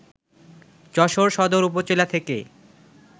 যশোর সদর উপজেলা থেকে